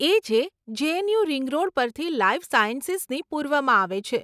એ જે JNU ring road પરથી life સાયન્સીસની પૂર્વમાં આવે છે.